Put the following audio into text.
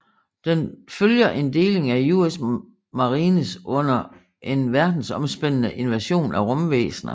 Den følger en deling af US Marines under en verdensomspændende invasion af rumvæsner